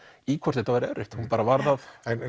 í hvort þetta væri erfitt hún bara varð að